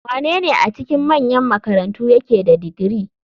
Wanene a cikin manyan makarantu yake da digiri?